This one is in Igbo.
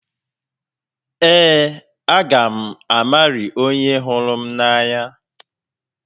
Ee, a ga m Mary onye hụrụ m n'anya.